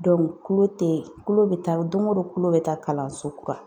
tulo te tulo be taa doŋo don kulo bɛ taa kalanso kura.